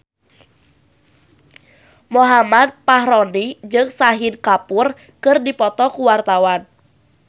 Muhammad Fachroni jeung Shahid Kapoor keur dipoto ku wartawan